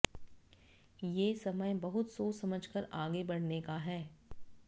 ये समय बहुत सोच समझकर आगे बढ़ने का है